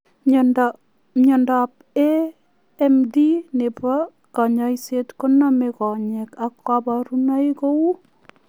Miondoop AMD nepoo kenyisiek ko nomei konyeek ako kabarunoik kou